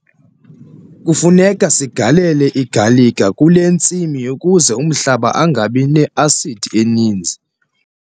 Kufuneka sigalele igalika kule ntsimi ukuze umhlaba ungabi ne-asidi eninzi.